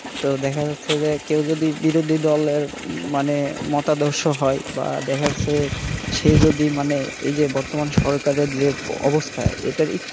তো দেখা যাচ্ছে যে কেউ যদি বিরোধী দলের মানে মতাদর্শ হয় বা দেখা যাচ্ছে সে যদি মানে এই যে বর্তমান সরকারের যে অবস্থা এটার একটু,